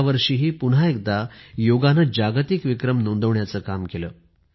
यावर्षीही पुन्हा एकदा योगाने जागतिक विक्रम नोंदवण्याचं काम केलं